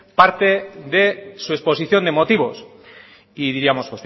parte de su exposición de motivos y diríamos